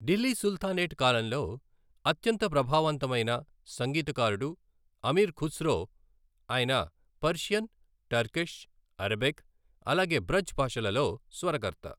Delhi sultanate కాలంలో అత్యంత ప్రభావవంతమైన సంగీతకారుడు అమీర్ ఖుస్రో, అయిన పర్షియన్, టర్కిష్, అరబిక్, అలాగే బ్రజ్ భాషలలో స్వరకర్త.